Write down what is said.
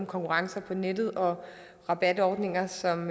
konkurrence på nettet og rabatordninger som